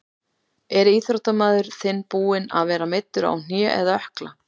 Er íþróttamaður þinn búinn að vera meiddur á hné eða ökkla?